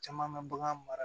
Caman bɛ bagan mara